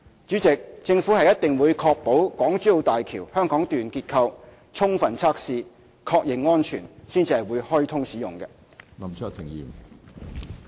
主席，政府一定會確保港珠澳大橋香港段結構充分測試，確認安全，才會開通使用。